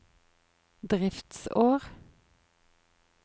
driftsår